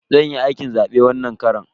Zan yi aikin zabe wannan karon.